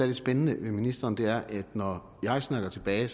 lidt spændende ved ministeren er at når jeg snakker tilbage i